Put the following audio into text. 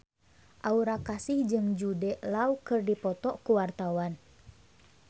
Aura Kasih jeung Jude Law keur dipoto ku wartawan